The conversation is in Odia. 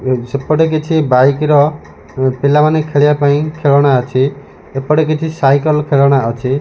ସେପଟେ କିଛି ବାଇକ୍ ର ପିଲାମାନେ ଖେଳିବା ପାଇଁ ଖେଳଣା ଅଛି ଏପଟେ କିଛି ସାଇକଲ୍ ଖେଳଣା ଅଛି।